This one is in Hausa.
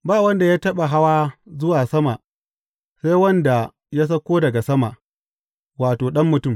Ba wanda ya taɓa hawa zuwa sama sai wanda ya sauka daga sama, wato, Ɗan Mutum.